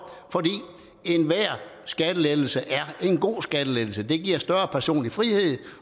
enhver skattelettelse er en god skattelettelse det giver større personlig frihed